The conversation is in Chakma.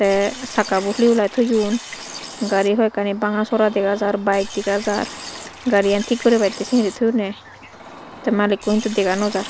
te sakka bu huli huliy thoyun gari hoi ekkani banga sora dega jar bike dega jar gari gan thik guribatte singiri thoyunne the malikko hintu dega nw jar.